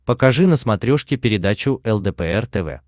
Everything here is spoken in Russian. покажи на смотрешке передачу лдпр тв